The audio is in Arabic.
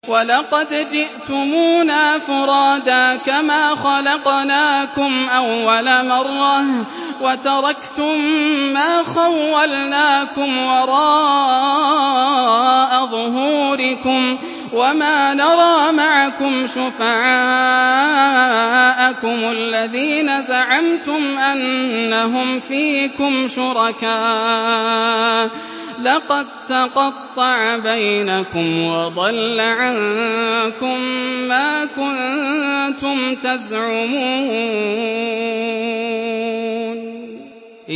وَلَقَدْ جِئْتُمُونَا فُرَادَىٰ كَمَا خَلَقْنَاكُمْ أَوَّلَ مَرَّةٍ وَتَرَكْتُم مَّا خَوَّلْنَاكُمْ وَرَاءَ ظُهُورِكُمْ ۖ وَمَا نَرَىٰ مَعَكُمْ شُفَعَاءَكُمُ الَّذِينَ زَعَمْتُمْ أَنَّهُمْ فِيكُمْ شُرَكَاءُ ۚ لَقَد تَّقَطَّعَ بَيْنَكُمْ وَضَلَّ عَنكُم مَّا كُنتُمْ تَزْعُمُونَ